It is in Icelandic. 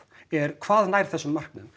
er hvað nær þessum markmiðum